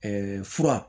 fura